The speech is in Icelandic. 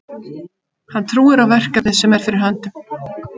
Hann trúir á verkefnið sem er fyrir höndum.